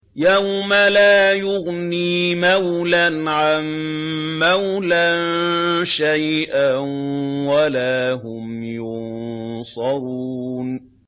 يَوْمَ لَا يُغْنِي مَوْلًى عَن مَّوْلًى شَيْئًا وَلَا هُمْ يُنصَرُونَ